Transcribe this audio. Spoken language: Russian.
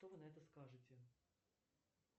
что вы на это скажете